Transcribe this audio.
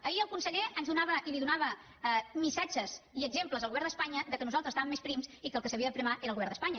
ahir el conseller ens donava i li donava missatges i exemples al govern d’espanya que nosaltres estàvem més prims i que el que s’havia d’aprimar era el govern d’espanya